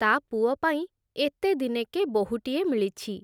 ତା ପୁଅପାଇଁ ଏତେଦିନେକେ ବୋହୂଟିଏ ମିଳିଛି ।